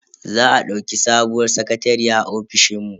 Za a dauki sabuwar sakatariya a ofishin mu.